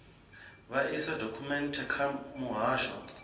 vha ise dokhumenthe kha muhasho